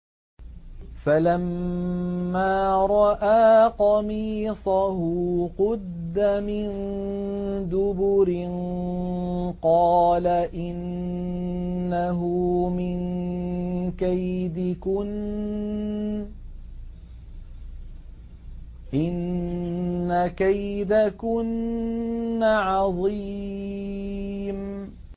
فَلَمَّا رَأَىٰ قَمِيصَهُ قُدَّ مِن دُبُرٍ قَالَ إِنَّهُ مِن كَيْدِكُنَّ ۖ إِنَّ كَيْدَكُنَّ عَظِيمٌ